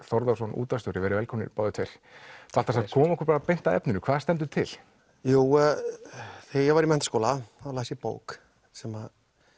Þórðarson útvarpsstjóri verið velkomnir báðir tveir Baltasar komum okkur beint að efninu hvað stendur til þegar ég var í menntaskóla þá las ég bók sem